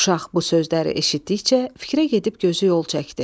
Uşaq bu sözləri eşitdikcə fikrə gedib gözü yol çəkdi.